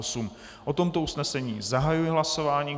O tomto usnesení zahajuji hlasování.